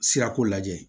Sirako lajɛ